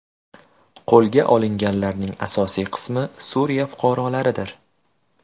Qo‘lga olinganlarning asosiy qismi Suriya fuqarolaridir.